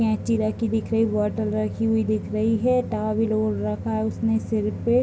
कैंची रखी दिख रही बोटल रखी हुई दिख रही है टॉवल और रखा है उसने सिर पे।